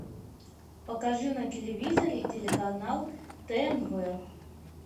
покажи на телевизоре телеканал тнв